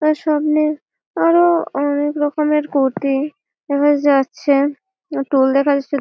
তার সামনে আরো অনেক রকমের গুটি দেখা যাচ্ছে টোল দেখা যাচ্ছে।